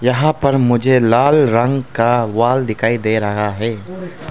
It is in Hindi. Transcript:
यहां पर मुझे लाल रंग का वॉल दिखाई दे रहा है।